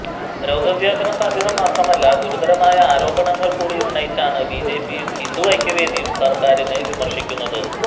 രോഗവ്യാപന സാധ്യത മാത്രമല്ല ഗുരുതരമായ ആരോപണങ്ങൾ കൂടി ഉന്നയിച്ചാണ് ബിജെപിയും ഹിന്ദു ഐക്യവേദിയും സർക്കാറിനെ വിമർശിക്കുന്നത്